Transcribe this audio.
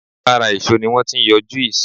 Lára èso ni wọ́n ti ń yọ juice